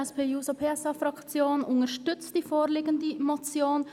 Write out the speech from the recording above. Die SP-JUSO-PSA-Fraktion unterstützt diese Motion.